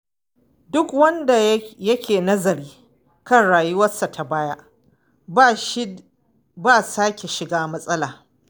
Duk wanda yake nazari kan rayuwarsa ta baya, ba shi ba sake shiga matsala.